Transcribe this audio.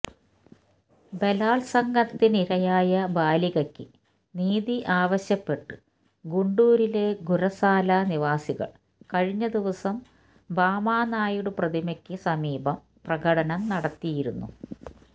ബലാത്സംഗത്തിനിരയായ ബാലികക്ക് നീതി ആവശ്യപ്പെട്ട് ഗുണ്ടൂരിലെ ഗുരസാല നിവാസികള് കഴിഞ്ഞ ദിവസം ഭാമ നായിഡു പ്രതിമക്ക് സമീപം പ്രകടനം നടത്തിയിരുന്നു